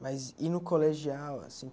Mas e no colegial assim?